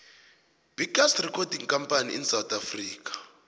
biggest recording company in south africa